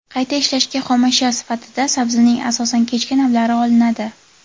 Qayta ishlashga xomashyo sifatida sabzining asosan kechki navlari olinadi.